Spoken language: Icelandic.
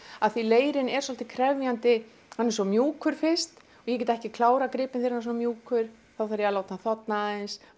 af því að leirinn er svolítið krefjandi hann er svo mjúkur fyrst og ég get ekki klárað gripinn þegar hann er svona mjúkur þá þarf ég að láta hann þorna aðeins